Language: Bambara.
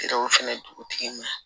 O fɛnɛ dugutigi ma